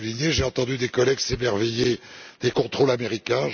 J'ai entendu des collègues s'émerveiller des contrôles américains.